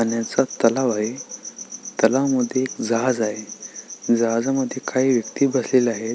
पाण्याचा तलाव अय तलावामध्ये एक जहाज आहे जहाजामद्धे काही व्यक्ति बसलेल्या आहे.